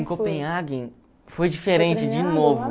Em Copenhagen foi diferente de novo.